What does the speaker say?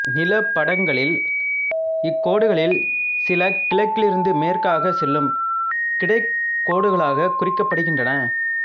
நிலப்படங்களில் இக் கோடுகளில் சில கிழக்கிலிருந்து மேற்கே செல்லும் கிடைக் கோடுகளாகக் குறிக்கப்படுகின்றன